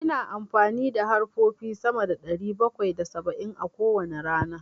Ina amfani da harfofi sama da ɗari bakwai da saba'in a kowane rana.